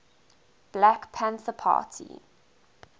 black panther party